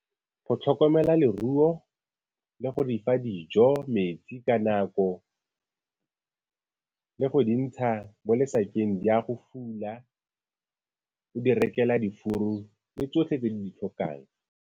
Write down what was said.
Go tlhokomela leruo le go di fa dijo, metsi ka nako, le go di ntsha mo lesakeng di ya go fula, o di rekela difuru le tsotlhe tse di ditlhokang.